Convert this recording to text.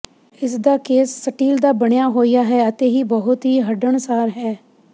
ਇਸਦਾ case steel ਦਾ ਬਣਿਆ ਹੋਇਆ ਹੈ ਅਤੇ ਇਹ ਬਹੁਤ ਹੀ ਹੰਢਣਸਾਰ ਹੈ